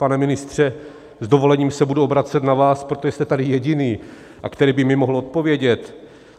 Pane ministře, s dovolením se budu obracet na vás, protože jste tady jediný, a který by mi mohl odpovědět.